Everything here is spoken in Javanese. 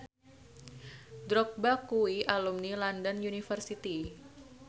Drogba kuwi alumni London University